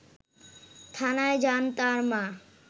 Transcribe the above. থানায় যান তার মা